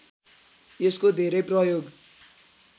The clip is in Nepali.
यसको धेरै प्रयोग